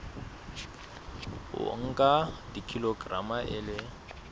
o nka kilograma e le